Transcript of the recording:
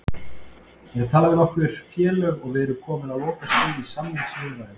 Ég er að tala við nokkur félög og við erum komnir á lokastig í samningaviðræðum.